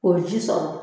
O ye ji sɔrɔ